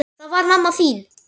Það var mamma þín.